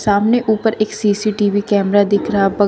सामने ऊपर एक सी_सी_टी_वी कैमरे दिख रहा बग--